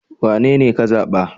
Wanene ka zaɓa?